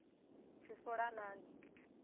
tshifulanani